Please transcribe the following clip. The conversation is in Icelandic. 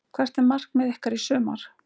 Hvert er markmið ykkar í sumar?